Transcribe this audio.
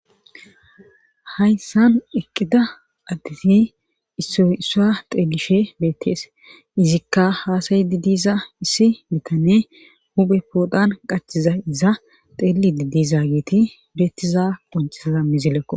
hayssan eqqida additi isso issa xeelishe beettees izikka haasayy didiza issi bitane huphe poodhan qachiza iza xeeli didiza geeti bietiza qoncisaza mizilekko